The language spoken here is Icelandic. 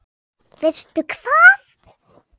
Veistu hvað?